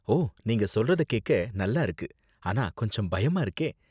ஓ, நீங்க சொல்றத கேக்க நல்லா இருக்கு, ஆனா கொஞ்சம் பயமா இருக்கே.